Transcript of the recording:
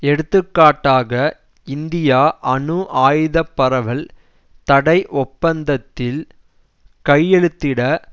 எடுத்துக்காட்டாக இந்தியா அணு ஆயுதப்பரவல் தடை ஒப்பந்தத்தில் கையெழுத்திட